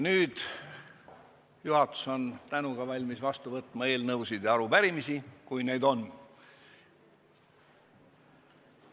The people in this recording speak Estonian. Nüüd on juhatus tänuga valmis vastu võtma eelnõusid ja arupärimisi, kui neid on.